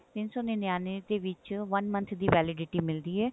ਤਿੰਨ ਸੋ ਨਨਿਅਨਵੇਂ ਦੇ ਵਿੱਚ one month ਦੀ validity ਮਿਲਦੀ ਹੈ